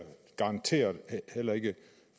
garanteret heller ikke